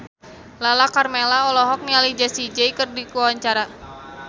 Lala Karmela olohok ningali Jessie J keur diwawancara